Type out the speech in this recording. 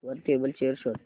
वर table chair शोध